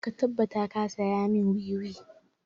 Ka tabbata ka saya mun wiwi!